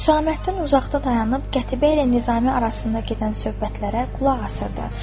Hüsaməddin uzaqda dayanıb Qətibə ilə Nizami arasında gedən söhbətlərə qulaq asırdı.